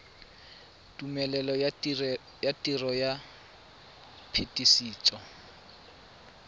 tumelelo ya tiro ya phetisetso